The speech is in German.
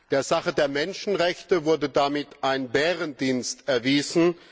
Der Sache der Menschenrechte wurde damit ein Bärendienst erwiesen.